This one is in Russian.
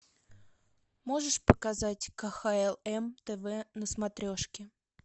можешь показать кхл м тв на смотрешке